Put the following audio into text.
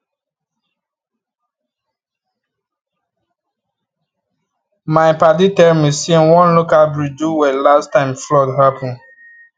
my padi tell me say one local breed do well last time flood happen